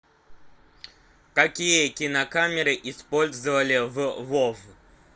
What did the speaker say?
какие кинокамеры использовали в вов